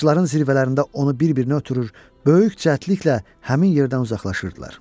Ağacların zirvələrində onu bir-birinə ötürür, böyük çətinliklə həmin yerdən uzaqlaşırdılar.